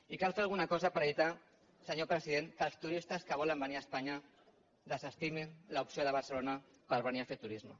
i cal fer alguna cosa per evitar senyor president que els turistes que volen venir a espanya desestimin l’opció de barcelona per venir a fer turisme